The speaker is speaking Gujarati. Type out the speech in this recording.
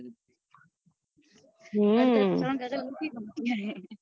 હમ અત્યારે શ્રવણ કાકા દુખી જ થઇ ગયા હૈ